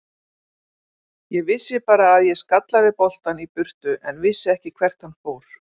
Ég vissi bara að ég skallaði boltann í burtu en vissi ekki hvert hann fór.